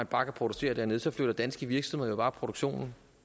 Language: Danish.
bare kan producere dernede så flytter danske virksomheder jo bare produktionen